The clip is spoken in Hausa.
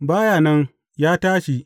Ba ya nan, ya tashi!